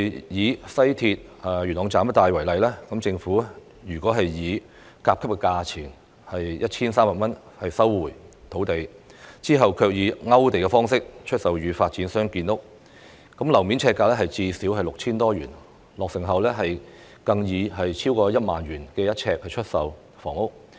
以西鐵元朗站一帶為例，如果政府以甲級價錢收地，其後卻以"勾地"方式出售予發展商建屋，樓面呎價最少 6,000 多元，落成後更可以每平方呎逾 10,000 元出售房屋。